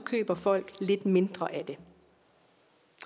køber folk lidt mindre af det